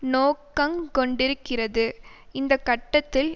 நோக்கங்கொண்டிருக்கிறது இந்த கட்டத்தில்